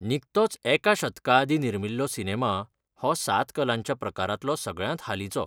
निकतोच एका शतकाआदीं निर्मिल्लो सिनेमा हो सात कलांच्या प्रकारांतलो सगळ्यांत हालींचो.